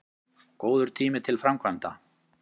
Góður tími til framkvæmda